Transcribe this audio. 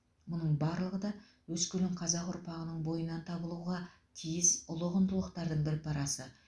мұның барлығы да өскелең қазақ ұрпағының бойынан табылуға тиіс ұлы құндылықтардың бір парасы